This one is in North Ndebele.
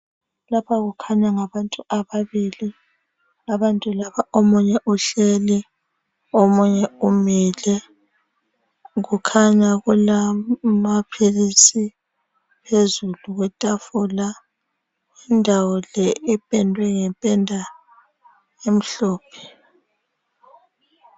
Lapha kukhanya ngabantu ababili, abantu laba omunye uhleli omunye umile. Kukhanya kulamaphilisi phezulu kwetafula. Indawo le ipendwe ngependa emhlophe.